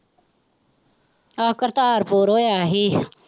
ਆਹੋ ਕਰਤਾਰਪੁਰ ਹੋਇਆ ਹੀ।